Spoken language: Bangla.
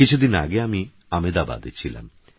কিছুদিনআগেআমিআমেদাবাদেছিলাম